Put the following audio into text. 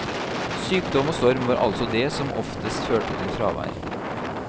Sykdom og storm var altså det som oftest førte til fravær.